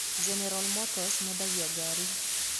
General Motors mendagia ngari.